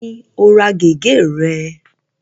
Ẹ̀ló ni o ra gẹ̀gẹ́ re?